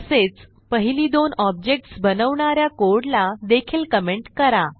तसेच पहिली दोन ऑब्जेक्ट्स बनवणा या कोडला देखील कमेंट करा